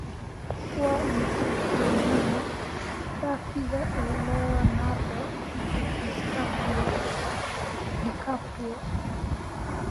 Waa imisa qiimaha saafiga leonardo dicaprio?